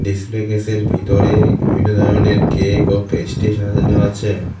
Display কেসের ভিতরে বিভিন্ন ধরণের কেক ও পেস্ট্রি সাজানো আছে।